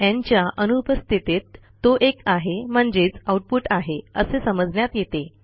न् च्या अनुपस्थितीत तो एक आहे म्हणजेच आऊटपुट आहे असे समजण्यात येते